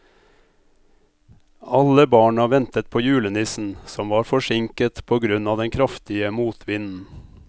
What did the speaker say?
Alle barna ventet på julenissen, som var forsinket på grunn av den kraftige motvinden.